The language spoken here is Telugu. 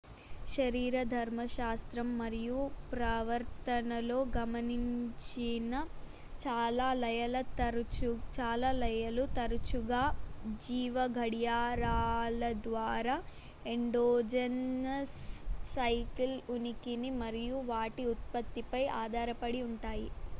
శరీరధర్మశాస్త్రం మరియు ప్రవర్తనలో గమనించిన చాలా లయలు తరచుగా జీవ గడియారాల ద్వారా ఎండోజెనస్ సైకిల్ ఉనికిని మరియు వాటి ఉత్పత్తిపై ఆధారపడి ఉంటాయి